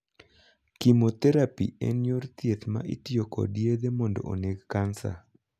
Chemotherapy' en yor thieth ma itiyo kod yedhe mondo oneg kansa